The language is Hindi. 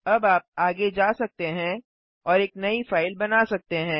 अब आप आगे जा सकते हैं और एक नई फाइल बना सकते हैं